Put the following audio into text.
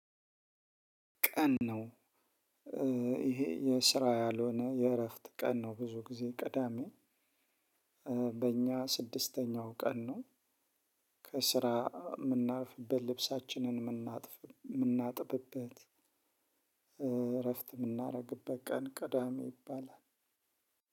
ቀን ነው። ይሄ የስራ ያልሆነ የእረፍት ቀን ነው። ብዙ ጊዜ ቅዳሜ በእኛ ስድስተኛው ቀን ነው። ከስራ ምናርፍበት ልብሳችንን ምናጥብበት እረፍት የምናደርግበት ቀን ቅዳሜ ይባላል።